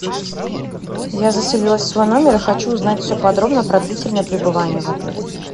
я заселилась в свой номер и хочу узнать все подробно про длительное пребывание в отеле